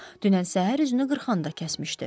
Dünən səhər üzünü qırxanda kəsmişdi.